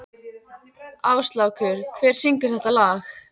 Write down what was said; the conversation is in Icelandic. Áslákur, hver syngur þetta lag?